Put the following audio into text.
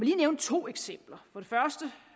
lige nævne to eksempler